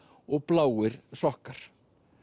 og bláir sokkar